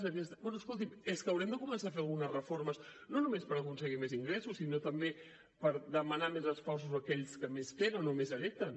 bé escolti’m és que haurem de començar a fer algunes reformes no només per aconseguir més ingressos sinó també per demanar més esforços a aquells que més tenen o més hereten